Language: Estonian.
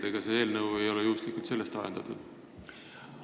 Ega see eelnõu ei ole juhuslikult sellest ajendatud?